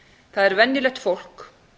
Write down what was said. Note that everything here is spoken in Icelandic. það er venjulegt fólk